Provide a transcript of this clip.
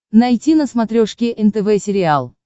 найти на смотрешке нтв сериал